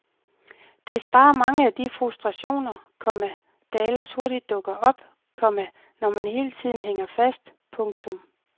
Det sparer mange af de frustrationer, komma der ellers hurtigt dukker op, komma når man hele tiden hænger fast. punktum